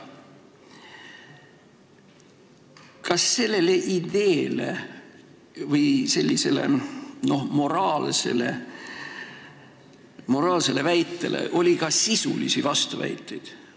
" Kas sellele ideele või sellisele moraalsele väitele oli ka sisulisi vastuväiteid?